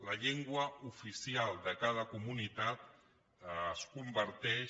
la llengua oficial de cada comunitat es converteix